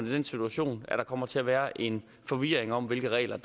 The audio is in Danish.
i den situation at der kommer til at være en forvirring om hvilke regler